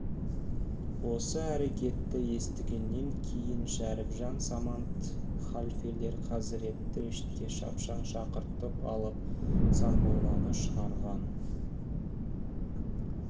осы әрекетті естігеннен кейін шәріпжан самат халфелер хазіретті мешітке шапшаң шақыртып алып сармолланы шығарған